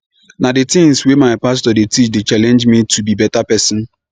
na di tins wey my pastor dey teach dey challenge me to be beta pesin